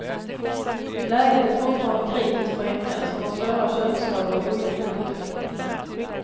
Läget är fortfarande kritiskt för änkan, som har svåra köldskador och ojämnt blodtryck.